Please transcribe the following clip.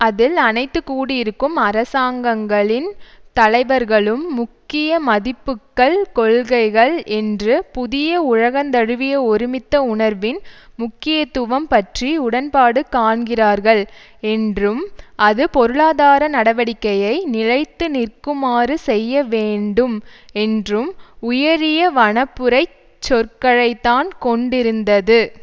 அதில் அனைத்து கூடியிருக்கும் அரசாங்கங்களின் தலைவர்களும் முக்கிய மதிப்புக்கள் கொள்கைகள் என்று புதிய உலகந்தழுவிய ஒருமித்த உணர்வின் முக்கியத்துவம் பற்றி உடன்பாடு காண்கிறார்கள் என்றும் அது பொருளாதார நடவடிக்கையை நிலைத்து நிற்குமாறு செய்ய வேண்டும் என்றும் உயரிய வனப்புரைச் சொற்களைத்தான் கொண்டிருந்தது